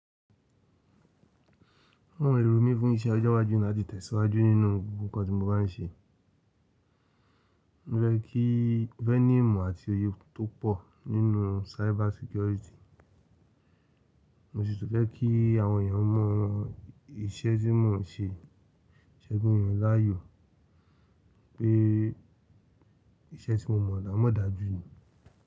Mo n rò mí fún isé ọjọ́ iwájú láti tẹ̀síwájú nínú gbogbo nnkan tí mo bá n ṣe. Mo fẹ́ kí ìfẹ́ní ìmọ̀ àti òye tó pọ̀ nínú cyber security. Mo sì túń fẹ́ kí àwọn èèyàn mọ̀ iṣẹ́ tí mò ń ṣe, iṣẹ́ yan láàyò pé iṣẹ́ tí mò mọ̀ dáa mọ̀ dáa jù ni.